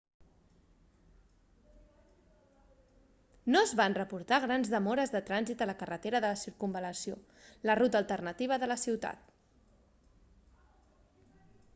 no es van reportar grans demores de trànsit a la carretera de circunvalació la ruta alternativa de la ciutat